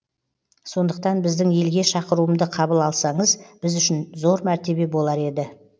сондықтан біздің елге шақыруымды қабыл алсаңыз біз үшін зор мәртебе болар еді